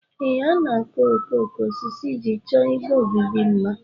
Ee, a na-akụ okooko osisi iji chọọ igbe obibi mma